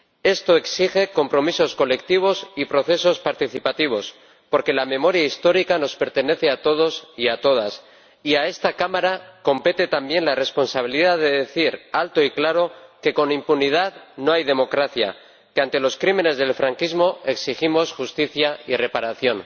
Esto exige compromisos colectivos y procesos participativos, porque la memoria histórica nos pertenece a todos y a todas, y a esta Cámara compete también la responsabilidad de decir alto y claro que con impunidad no hay democracia, que ante los crímenes del franquismo exigimos justicia y reparación.